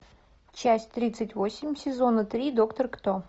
часть тридцать восемь сезона три доктор кто